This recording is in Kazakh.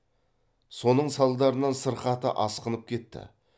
соның салдарынан сырқаты асқынып кетті